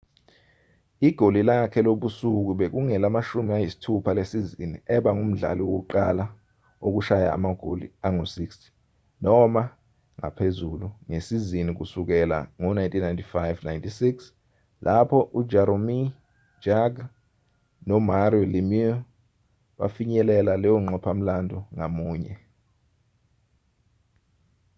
igoli lakhe lobusuku bekungelama-60 lesizini eba ngumdlali wokuqala wokushaya amagoli angu-60 noma ngaphezulu ngesizini kusukela ngo-1995-96 lapho ujaromir jagr nomario lemieux befinyelela leyonqophamlando ngamunye